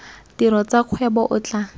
tiro tsa kgwebo o tla